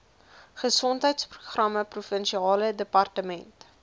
gesondheidsprogramme provinsiale departement